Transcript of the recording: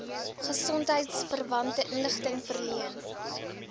gesondheidsverwante inligting verleen